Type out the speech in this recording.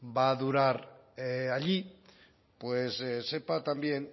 va a durar allí sepa también